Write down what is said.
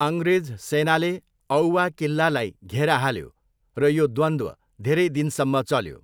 अङ्ग्रेज सेनाले औवा किल्लालाई घेरा हाल्यो र यो द्वन्द्व धेरै दिनसम्म चल्यो।